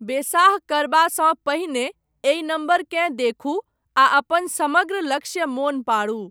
बेसाह करबासँ पहिने, एहि नम्बरकेँ देखू, आ अपन समग्र लक्ष्य मोन पाडू।